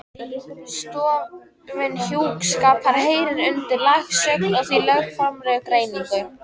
Stofnun hjúskapar heyrir undir landslög og er því lögformlegur gerningur.